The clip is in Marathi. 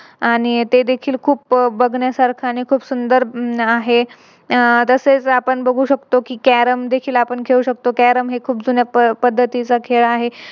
आणि ते देखील खूप बघण्यासारखं आणि खूप सुंदर आहे. अह तसेच आपण बघू शकतो कि Carrom देखील खेळू शकतो. Carrom हे खूप जुन्या पद्धतीने खेळायचा खेळ आहे